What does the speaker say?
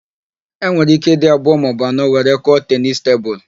E nwere íké ịdị abụọ maọbụ anọ were kụọ tenisi tebulu.